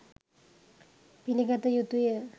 පිලිගත යුතුය.